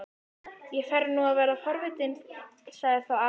Ég fer nú að verða forvitinn sagði þá afinn spenntur.